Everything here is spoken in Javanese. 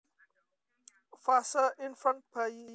Fase Infant bayi